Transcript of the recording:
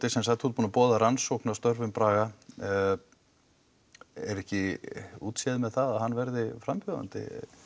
þú ert búinn að boða rannsókn á störfum Braga er ekki útséð með það að hann verði frambjóðandi